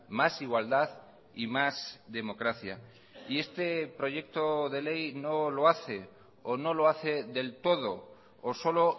más igualdad y más democracia y este proyecto de ley no lo hace o no lo hace del todo o solo